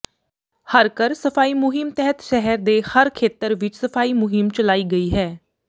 ਹਰ ਘਰ ਸਫਾਈ ਮੁਹਿੰਮ ਤਹਿਤ ਸਹਿਰ ਦੇ ਹਰ ਖੇਤਰ ਵਿਚ ਸਫਾਈ ਮੁਹਿੰਮ ਚਲਾਈ ਗਈ ਹੈ